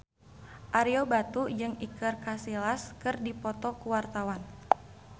Ario Batu jeung Iker Casillas keur dipoto ku wartawan